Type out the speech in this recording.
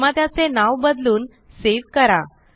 निर्मात्याचे नाव बदलून सेव करा